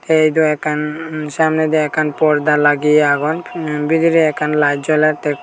tey iyodo ekkan samnedi ekkan porda lageye agon emm bidire ekkan layet jolette.